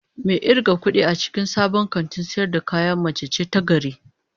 Mai irgan kudi a cikin sabon kantin sayar da kaya mace ce ta gari